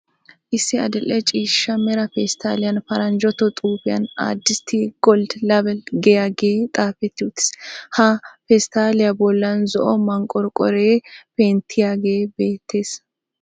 Issi adil"e ciishshaa mera pestaliyan paranjatto xuufiyan 'Addis tea gold label' giyagge xaafeti uttiis. Ha pesttaliya bollan zo"o manqqorqoroy penttiyage beettees.